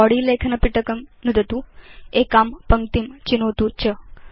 body लेखनपिटकं नुदतु एकां पङ्क्तिं चिनोतु च